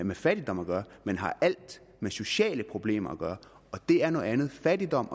med fattigdom at gøre men har alt med sociale problemer at gøre og det er noget andet fattigdom